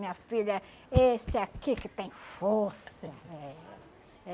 Minha filha, esse aqui que tem força. É.